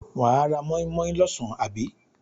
Wà á móínmóín lọ́sàn àbí?